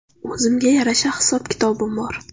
O‘zimga yarasha hisob-kitobim bor.